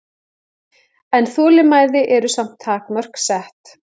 En þolinmæði eru samt takmörk sett